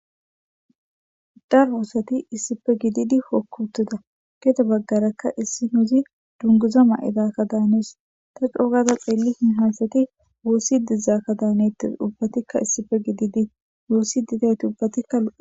darwoosati issife gididi hokku uttida geete baggarakka issi nuuzi dunguza ma7idakka daanes ta coogada xeelli hi haysati woossi dizakka daanetti ubbatikka issife gididi woossi didayti ubbatikka lo